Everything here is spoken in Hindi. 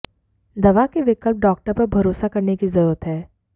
दवा के विकल्प डॉक्टर पर भरोसा करने की जरूरत है